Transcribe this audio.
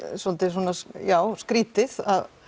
svolítið svona skrítið